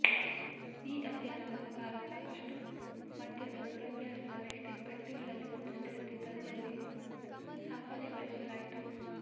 ಈ ಅಧ್ಯಯನದ ಪ್ರಕಾರ ಸಾಕಷ್ಟು ಮದ್ಯದ ದುರಭ್ಯಾಸದ ವ್ಯಕ್ತಿಗಳಲ್ಲಿ ಒಂದು ಸ್ಥಿರತೆ ತರುವಲ್ಲಿ ಸಾಫಲ್ಯ ಗಳಿಸಲಾಯಿತು